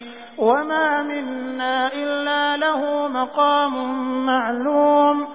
وَمَا مِنَّا إِلَّا لَهُ مَقَامٌ مَّعْلُومٌ